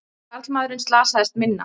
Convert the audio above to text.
Karlmaðurinn slasaðist minna